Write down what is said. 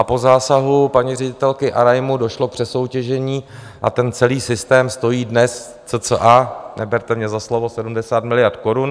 A po zásahu paní ředitelky Arajmu došlo k přesoutěžení a ten celý systém stojí dnes cca - neberte mě za slovo - 70 miliard korun.